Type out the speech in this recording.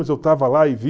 Mas eu estava lá e vi...